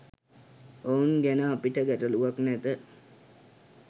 ඔවුන් ගැන අපිට ගැටළුවක් නැත.